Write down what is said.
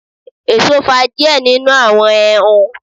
Eso fa diẹ ninu awọn Ẹhun